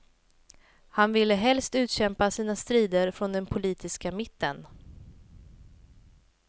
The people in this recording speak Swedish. Han ville helst utkämpa sina strider från den politiska mitten.